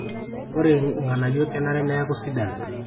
ore ng'anayio kenare neeku sidan